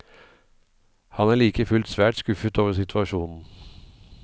Han er like fullt svært skuffet over situasjonen.